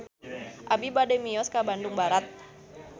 Abi bade mios ka Bandung Barat